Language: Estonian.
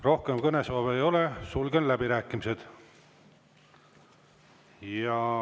Rohkem kõnesoove ei ole, sulgen läbirääkimised.